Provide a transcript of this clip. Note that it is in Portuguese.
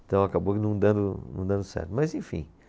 Então acabou não dando, não dando certo, mas enfim.